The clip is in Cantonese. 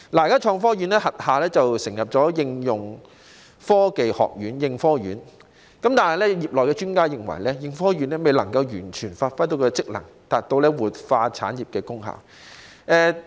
現時成立了應用科技研究院，但業內專家認為，應科院未能完全發揮職能，達到活化產業的功效。